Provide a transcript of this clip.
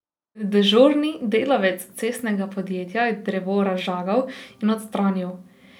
Dežurni delavec cestnega podjetja je drevo razžagal in odstranil.